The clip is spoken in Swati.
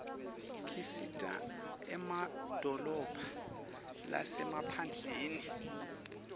kisita emadolobha lasemaphndleni